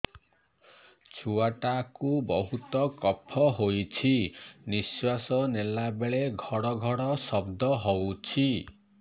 ଛୁଆ ଟା କୁ ବହୁତ କଫ ହୋଇଛି ନିଶ୍ୱାସ ନେଲା ବେଳେ ଘଡ ଘଡ ଶବ୍ଦ ହଉଛି